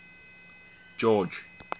george